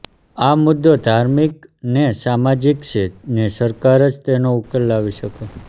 આ મુદ્દો ધાર્મિક ને સામાજિક છે ને સરકાર જ તેનો ઉકેલ લાવી શકે